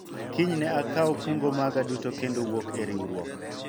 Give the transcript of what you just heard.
kiny ne akawu kungo maga duto kendo wuok e riwruok